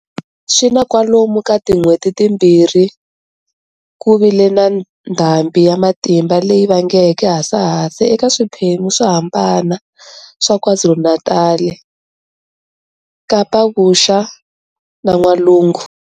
Swi na kwalomu ka tin'hweti timbirhi ku vi le na ndhambhi ya matimba leyi vangeke hasahasa eka swiphembu swo hambana swa KwaZulu-Natal, KapaVuxa na N'walungu